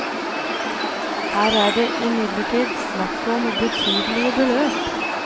Her er det imidlertid snakk om betydelige beløp.